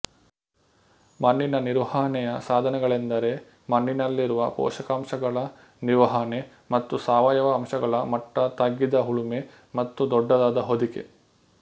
ಮಣ್ಣಿನ ನಿರ್ವಹಣೆಯ ಸಾಧನಗಳೆಂದರೆ ಮಣ್ಣಿನಲ್ಲಿರುವ ಪೋಷಕಾಂಶಗಳ ನಿರ್ವಹಣೆ ಮತ್ತು ಸಾವಯವ ಅಂಶಗಳ ಮಟ್ಟ ತಗ್ಗಿದ ಉಳುಮೆ ಮತ್ತು ದೊಡ್ಡದಾದ ಹೊದಿಕೆ